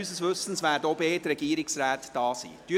Unseres Wissens werden auch beide Regierungsräte anwesend sein.